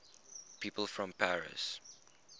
people from paris